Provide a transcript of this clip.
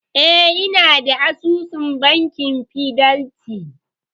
E, inada asusun bankin fidelity.